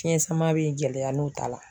Fiɲɛ sama bɛ gɛlɛya n'u taa la.